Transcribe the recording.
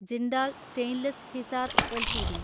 Jindal stainless (ഹിസാർ) LTD